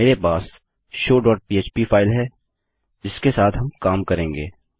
मेरे पास show dot पह्प फाइल है जिसके साथ हम काम करेंगे